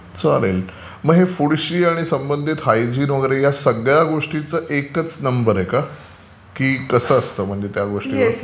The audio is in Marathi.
चालेल. मग हे फूडशी संबंधित हायजिन या सगळ्या गोष्टींचं एकाच नंबर आहे का? की कसं असतं म्हणजे ते?